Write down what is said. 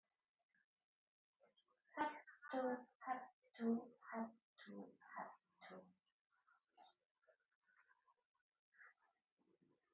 Hep tú, hep tú, hep tú, hep tú.